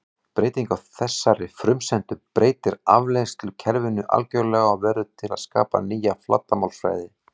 Breyting á þessari frumsendu breytir afleiðslukerfinu algjörlega og verður til að skapa nýja flatarmálsfræði.